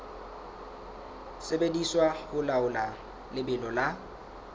sebediswa ho laola lebelo la